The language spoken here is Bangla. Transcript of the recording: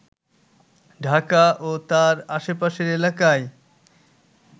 ঢাকা ও তার আশেপাশের এলাকায়